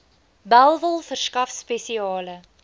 bellville verskaf spesiale